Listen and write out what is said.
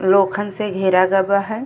लोखन से घेरा गै बा हे।